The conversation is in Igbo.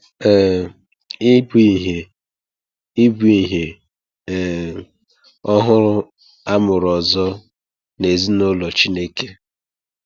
um Ị bụ ihe Ị bụ ihe um ọhụrụ a mụrụ ọzọ n’ezinụlọ Chineke.